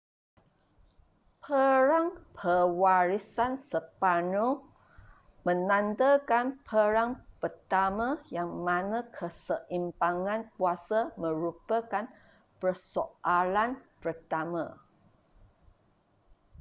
perang pewarisan sepanyol menandakan perang pertama yang mana keseimbangan kuasa merupakan persoalan pertama